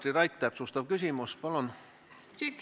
Katri Raik, täpsustav küsimus, palun!